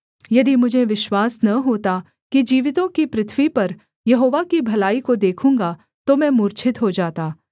यदि मुझे विश्वास न होता कि जीवितों की पृथ्वी पर यहोवा की भलाई को देखूँगा तो मैं मूर्छित हो जाता